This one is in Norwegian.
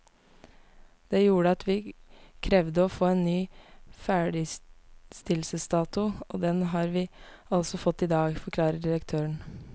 Det gjorde at vi krevde å få en ny ferdigstillelsesdato, og den har vi altså fått i dag, forklarer direktøren.